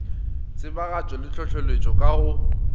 tsebagatšo le hlohleletšo ka go